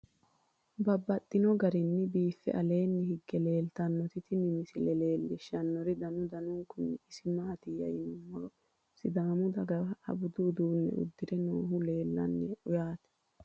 Babaxxittinno garinni biiffe aleenni hige leelittannotti tinni misile lelishshanori danu danunkunni isi maattiya yinummoro sidaamu dagaha budu uudune udirre noohu leelanno yaatte